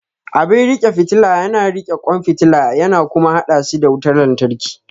Abin riƙe fitila yana riƙe kwan fitila yana kuma haɗa shi da wutar lantarki.